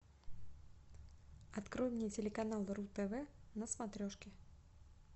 открой мне телеканал ру тв на смотрешке